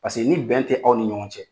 Paseke ni bɛn tɛ aw ni ɲɔgɔn cɛ.